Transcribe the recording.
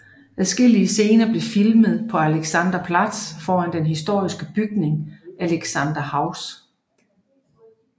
Adskillige scener blev filmet på Alexanderplatz foran den historiske bygning Alexanderhaus